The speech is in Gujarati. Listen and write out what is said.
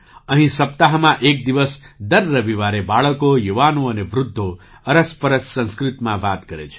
અહીં સપ્તાહમાં એક દિવસ દર રવિવારે બાળકો યુવાનો અને વૃદ્ધો અરસપરસ સંસ્કૃતમાં વાત કરે છે